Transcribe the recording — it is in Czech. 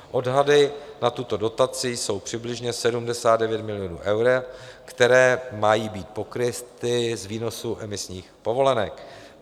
Odhady na tuto dotaci jsou přibližně 79 milionů euro, které mají být pokryty z výnosu emisních povolenek.